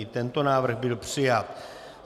I tento návrh byl přijat.